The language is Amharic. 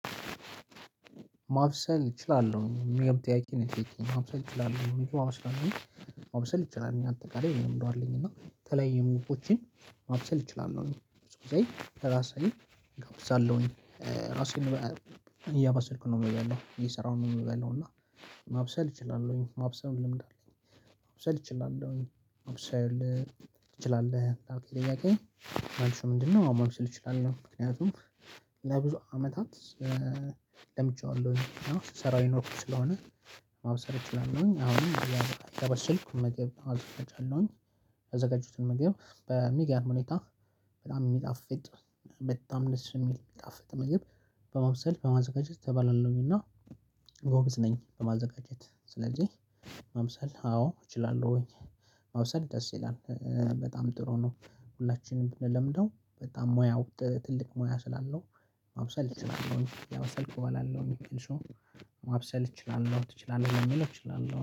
ማብሰል እችላለሁኝ እሚል ጥያቄ ነው የጠየከኝ ማብሰል እችላለሁኝ ምግብ አአበስላለሁኝ። ማብሰል እችላለሁኝ እኛ አንተ ጋር ይሄንን እንደው አይደለኝም እና ተለይ የሙቆቼን ማብሰል እችላለሁ ነው። ብዙ ጊዜ ራሳዬን እጋብዛለሁኝ ራሴን እያባሰልኩ ነው የምበላው እየሰራሁ ነው የምበላው። እና ማብሰል እችላለሁኝ ማብሰል ልምድ አለኝ። ማብሰል እችላለሁኝ ማብሰል ትችላለህ ላልከኝ ጥያቄ መልሱ ምንድን ነው? እችላለሁ ምክንያቱም ለብዙ አመታት ለምጄዋለሁኝ ስሰራው የኖርኩት ስለሆነ ማብሰል እችላለሁኝ። አሁንም እያበሰልኩት ምግብ አዘጋጃለሁኝ። ያዘጋጀሁትን ምግብ በሚገርም ሁኔታ በጣም እሚጣፍጥ መታምነስ የሚል የሚጣፍጥ ምግብ በመብሰል በማዘጋጀት ተባላለሁኝ። እና ጎበዝ ነኝ በማዘጋጀት ስለዚህ ማብሰል አዎ እችላለሁኝ። ማብሰል ደስ ይላል በጣም ጥሩ ነው። ሁላችንም ብንለምደው በጣም ሙያው ትልቅ ሙያ ስላለው ማብሰል እችላለሁ እያበሰልኩ እበላለሁ። ማብሰል እችላለሁ ትችላለህ ለሚለው እችላለሁ